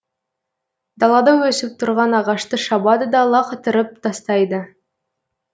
далада өсіп тұрған ағашты шабады да лақытырып тастайды